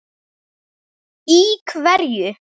Í hverju?